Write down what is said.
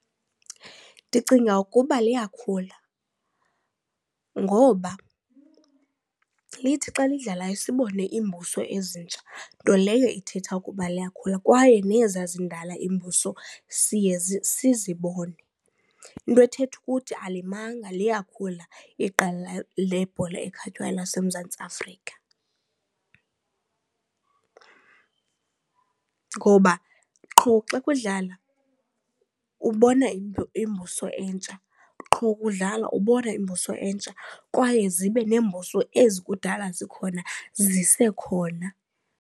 Ndicinga ukuba liyakhula ngoba lithi xa lidlalayo sibone iimbuso ezintsha nto leyo ithetha ukuba liyakhula kwaye nezaa zindala iimbuso siye sizibone. Into ethetha ukuthi alimanga liyakhula iqela lebhola ekhatywayo laseMzantsi Afrika ngoba qho xa kudlala ubona iimbuso entsha, qho kudlalwa ubona iimbuso entsha kwaye zibe neembuso ezi kudala zikhona zisekhona.